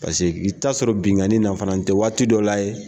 Paseke i ta sɔrɔ bingani na fana ni tɛ waati dɔ la ye.